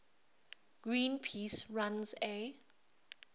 greenpeace runs a